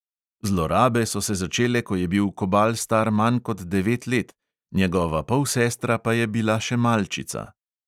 Zlorabe so se začele, ko je bil kobal star manj kot devet let, njegova polsestra pa je bila še malčica.